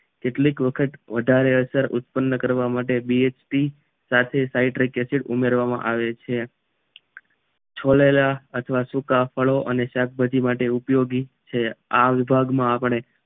કેટલીક વખત વધારે અસર ઉત્પન્ન કરવા માટે B_H_P સાથે સાઈટ્રિક એસિડ ઉમેરવામાં આવે છે છોલેલા અથવા સૂકા ફળો અને શાકભાજી માટે ઉપયોગી છે આ વિભાગ માં આપને